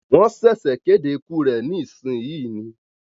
Wọ́n ṣẹ̀sẹ̀ kéde ikú rẹ ní ìsìn yìí ni